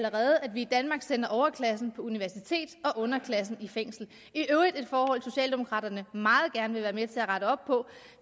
vi i danmark sender overklassen på universitet og underklassen i fængsel det i øvrigt et forhold socialdemokraterne meget gerne vil være med til at rette op på